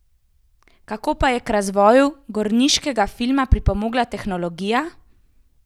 Kako pa je k razvoju gorniškega filma pripomogla tehnologija?